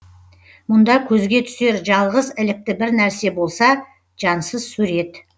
мұнда көзге түсер жалғыз ілікті бір нәрсе болса жансыз сурет